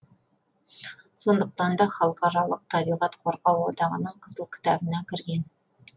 сондықтан да халықаралық табиғат қорғау одағының қызыл кітабына кірген